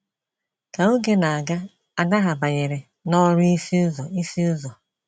Ka oge na - aga, ada ha banyere n'ọrụ ịsụ ụzọ ịsụ ụzọ.